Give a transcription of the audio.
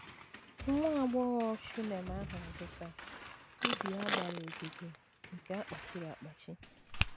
Nwa agbọghọ Shunem ahụ dị ka “ ubi a gbara ogige nke a kpachiri akpachi ”